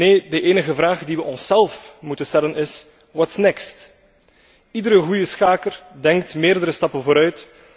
Nee, de enige vraag die we onszelf moeten stellen is what's next Iedere goede schaker denkt meerdere stappen vooruit.